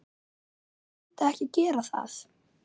Hver myndi ekki gera það?